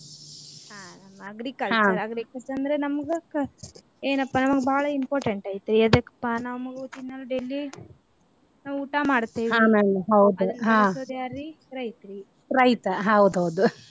ಹಾ agriculture agriculture ಅಂದ್ರ ನಮ್ಗ ಕ ಏನಪ್ಪಾ ನಮ್ಗ ಬಾಳ important ಐತಿ ಎದಕ್ಕಪಾ ನಮ್ಗ ತಿನ್ನೋ daily ನಾವು ಊಟಾ ಮಾಡ್ತೇವಿ .